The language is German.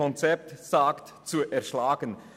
So nennt er dies in seinem Konzept.